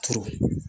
Turun